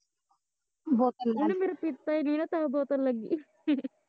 ਉਹਨੇ ਮੇਰਾ ਪੀਤਾ ਈ ਨੀ ਨਾ ਤਾਂ ਬੋਤਲ ਲੱਗੀ